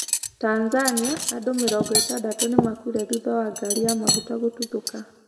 Tanzania: andũ mĩrongo ĩtandatũ nĩ makuire thutha wa ngari ya maguta gũtuthũka